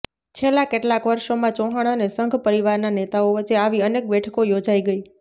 છેલ્લા કેટલાક વર્ષોમાં ચૌહાણ અને સંઘ પરિવારના નેતાઓ વચ્ચે આવી અનેક બેઠકો યોજાઈ ગઈ